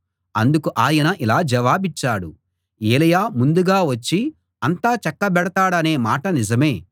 అందుకు ఆయన ఇలా జవాబిచ్చాడు ఏలీయా ముందుగా వచ్చి అంతా చక్కబెడతాడనే మాట నిజమే